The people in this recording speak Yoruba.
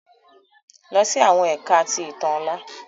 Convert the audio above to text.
Lọ si awọn Ẹka ti Itan ọla!